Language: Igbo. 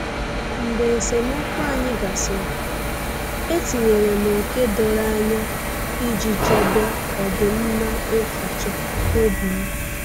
Mgbe esemokwu anyị gasịrị, etinyere m ókè doro anya iji chebe ọdịmma echuche obim